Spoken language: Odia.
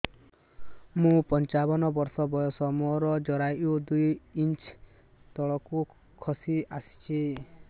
ମୁଁ ପଞ୍ଚାବନ ବର୍ଷ ବୟସ ମୋର ଜରାୟୁ ଦୁଇ ଇଞ୍ଚ ତଳକୁ ଖସି ଆସିଛି